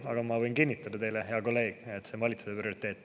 Aga ma võin kinnitada teile, hea kolleeg, et see on valitsuse prioriteet.